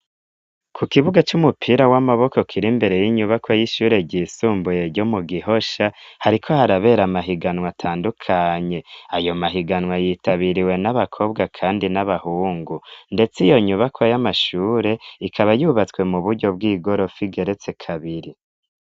Ku kibuga c'umupira w'amaboko kir'imbere y'inyubakwa y'ishure ryisumbuye ryo mu gihosha, hariko harabera amahiganwa atandukanye , ayo mahiganwa yitabiriwe n'abakobwa kandi n'abahungu, ndetse iyo nyubakwa y'amashure ikaba yubatswe mu buryo bw'igorofa igeretse kabiri.